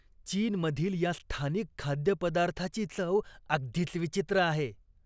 चीनमधील या स्थानिक खाद्यपदार्थाची चव अगदीच विचित्र आहे.